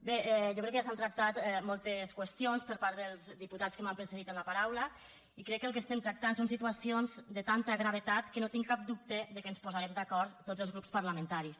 bé jo crec que ja s’han tractat moltes qüestions per part dels diputats que m’han precedit en la paraula i crec que el que estem tractant són situacions de tanta gravetat que no tinc cap dubte que ens posarem d’acord tots els grups parlamentaris